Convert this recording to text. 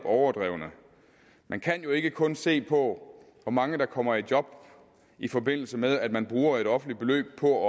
overdrevne man kan jo ikke kun se på hvor mange der kommer i job i forbindelse med at man bruger et offentligt beløb på at